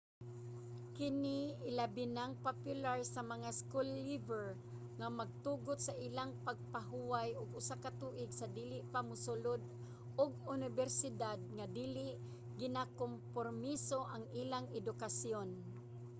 kini ilabinang popular sa mga school-leaver nga magtugot sa ilang magpahuway og usa ka tuig sa dili pa mosulod og unibersidad nga dili ginakompormiso ang ilang edukasyon